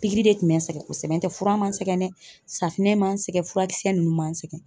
Pikiri de tun bɛ n sɛgɛn kosɛbɛ nɔntɛ fura ma n sɛgɛn dɛ, safinɛ ma n sɛgɛn, furakisɛ ninnu ma n sɛgɛn.